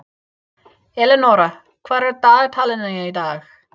Elenóra, hvað er á dagatalinu í dag?